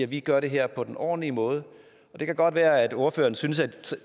vi gør det her på en ordentlig måde det kan godt være at ordføreren synes at